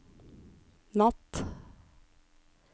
natt